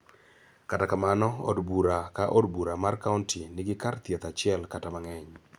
kata kamano, od bura ka od bura mar kaonti nigi kar thieth achiel kata mang'eny.